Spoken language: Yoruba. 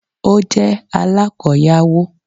Ó jẹ́ alákoyawó